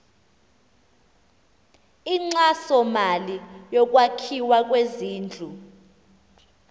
inkxasomali yokwakhiwa kwezindlu